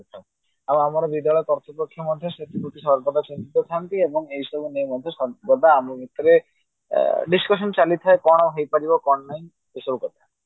ଆଉ ଆମର ନିର୍ଦୟ କାର୍ତୁପକ୍ଷ ମଧ୍ୟ ସେଥିପ୍ରତି ସର୍ବଦା ଥାନ୍ତି ଆଉ ଏହି ସବୁ ନେଇ ମଧ୍ୟ ସର୍ବଦା ଆମ ଭିତରେ discussion ଚାଲିଥାଏ କଣ ହୋଇପାରିବ କଣ ନାହିଁ ଏଇ ସବୁ କଥା